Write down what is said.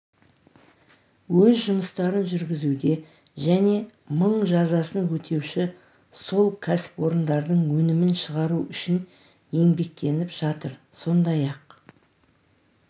өз жұмыстарын жүргізуде және мың жазасын өтеуші сол кәсіпорындардың өнімін шығару үшін еңбектеніп жатыр сондай-ақ